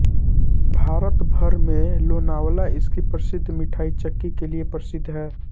भारत भर में लोनावला इसकी प्रसिद्ध मिठाई चिक्की के लिए प्रसिद्ध है